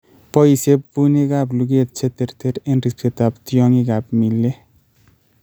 boisye puunigap lugeet che terter eng' riipsetap tyong'igap Mealy.